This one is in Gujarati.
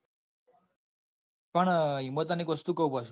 પણ એમાં તને એક વસ્તુ કૌ પાછું.